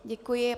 Děkuji.